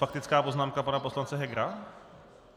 Faktická poznámka pana poslance Hegera?